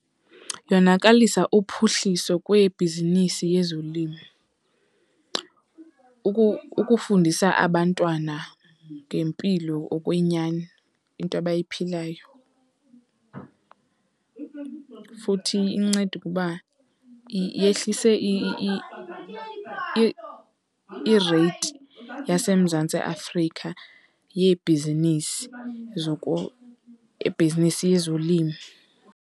Yonakalise uphuhliso kwebhizinisi yezolimo. Ukufundisa abantwana ngempilo okwenyani into abayiphilayo, futhi inceda ukuba yehlise i-rate yaseMzantsi Afrika yebhizinisi , yebhizinisi yezolimo.